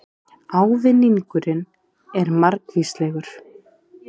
Ávinningurinn er margvíslegur